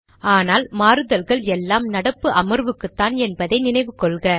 ஆனால் மாறுதல்கள் எல்லாமே நடப்பு அமர்வுக்குத்தான் என்பதை நினைவு கொள்க